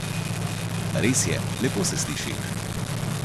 Res je, lepo se sliši.